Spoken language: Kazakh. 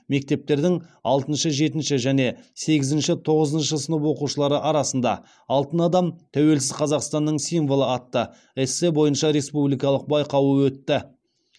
мектептердің алтыншы жетінші және сегізінші тоғызыншы сынып оқушылары арасында алтын адам тәуелсіз қазақстанның символы атты эссе бойынша республикалық байқауы өтті